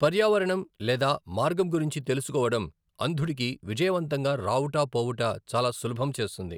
పర్యావరణం లేదా మార్గం గురించి తెలుసుకోవడం, అంధుడికి విజయవంతంగా రావుట పోవుట చాలా సులభం చేస్తుంది.